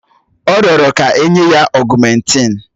Ọ rịọrọ kà enye ya ọ̀gụ́mèntin